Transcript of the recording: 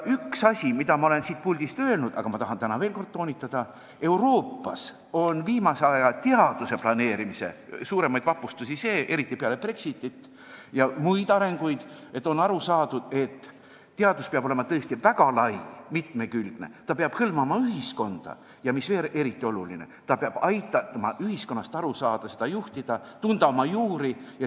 Üks asi, mida ma olen siit puldist öelnud, aga mida ma tahan täna veel kord toonitada, on see: Euroopas on viimase aja teaduse planeerimise üks suuremaid vapustusi see, eriti peale Brexitit ja muid arenguid, et on aru saadud, et teadus peab olema väga lai, mitmekülgne, ta peab hõlmama ühiskonda, ning mis veel eriti oluline, ta peab aitama ühiskonnast aru saada, ta peab aitama seda juhtida ja aitama oma juuri tundma õppida.